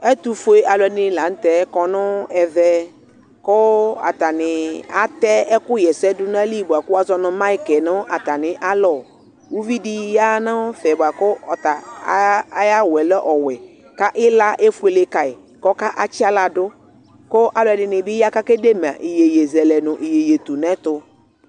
ɛtʋƒʋɛ alʋɛdini lantɛ kɔnʋ ɛvɛ kʋ atani atɛ ɛkʋ. yɛsɛ dʋnʋ ayili bʋakʋ wazɔnʋ mic nʋ atani alɔ, ʋvi di yanʋ ɛƒɛ bʋakʋ ɔta ayi awʋɛ lɛ ɔwɛ kʋ ila ɛƒʋɛlɛ kayi kʋ ɔka tsiala dʋ kʋ alʋɛdini bi ya kʋ akɛ dɛ ma inyɛyɛzɛlɛ nʋ inyɛyɛtʋnɛtʋ.